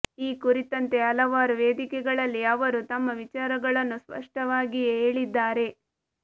ಈ ಕುರಿತಂತೆ ಹಲವಾರು ವೇದಿಕೆಗಳಲ್ಲಿ ಅವರು ತಮ್ಮ ವಿಚಾರಗಳನ್ನು ಸ್ಪಷ್ಟವಾಗಿಯೇ ಹೇಳಿದ್ದಾರೆ